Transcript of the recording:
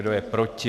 Kdo je proti?